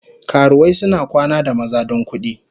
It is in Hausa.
Karuwai suna kwana da maza don kudi.